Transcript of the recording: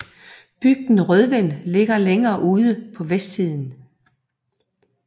Bygden Rødven ligger længere ude på vestsiden